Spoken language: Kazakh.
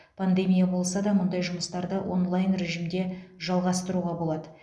пандемия болса да мұндай жұмыстарды онлайн режимде жалғастыруға болады